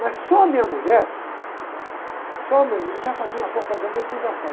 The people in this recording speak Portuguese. Mas só a minha mulher, só a minha mulher... Já fazia uma propaganda desgraçada.